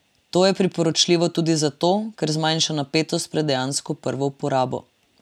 To je priporočljivo tudi zato, ker zmanjša napetost pred dejansko prvo uporabo.